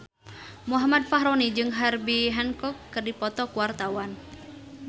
Muhammad Fachroni jeung Herbie Hancock keur dipoto ku wartawan